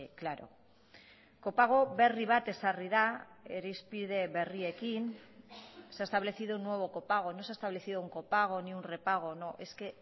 claro kopago berri bat ezarri da irizpide berriekin se ha establecido un nuevo copago no se ha establecido un copago ni un repago no es que